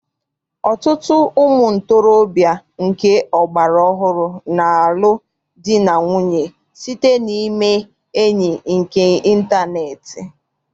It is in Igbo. Ọtụtụ ụmụntorobịa nke ọgbara ọhụrụ na-alụ di na nwunye site na ime enyi nke ịntaneetị.